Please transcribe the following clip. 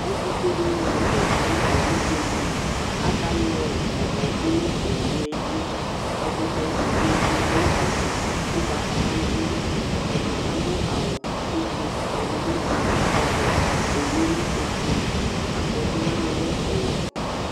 ɛtu fue dini la nu tɛ du owu be di li, aka yɔ ɛmɔ du nu owue li , ɛkutɛ be di ma nu ɛfɛ, ugbata wla ni bi du ɛfɛ, ɛdi bi adu awu uble , ɛdi bi adu ɔvɛ, owue lɛ ofue, afɔti wʋani lɛ ɔwɛ